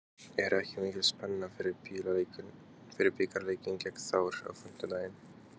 Er ekki mikil spenna fyrir bikarleikinn gegn Þór á fimmtudag?